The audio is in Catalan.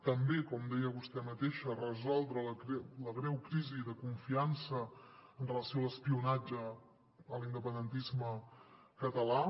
també com deia vostè mateixa resoldre la greu crisi de confiança amb relació a l’espionatge a l’independentisme català